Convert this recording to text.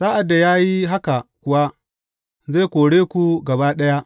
Sa’ad da ya yi haka kuwa, zai kore ku gaba ɗaya.